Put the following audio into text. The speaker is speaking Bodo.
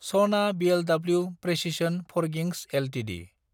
सना बोलो प्रिसिसन फरगिंस एलटिडि